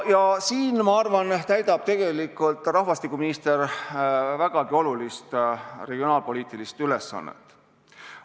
Ja siin, ma arvan, täidab rahvastikuminister vägagi olulist regionaalpoliitilist ülesannet.